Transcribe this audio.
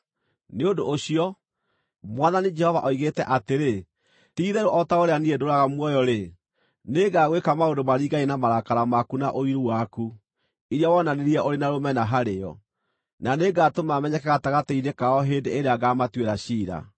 nĩ ũndũ ũcio, Mwathani Jehova oigĩte atĩrĩ, ti-itherũ o ta ũrĩa niĩ ndũũraga muoyo-rĩ, nĩngagwĩka maũndũ maringaine na marakara maku na ũiru waku, iria wonanirie ũrĩ na rũmena harĩo, na nĩngatũma menyeke gatagatĩ-inĩ kao hĩndĩ ĩrĩa ngaamũtuĩra ciira.